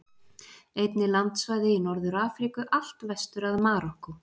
Einnig landsvæði í Norður-Afríku, allt vestur að Marokkó.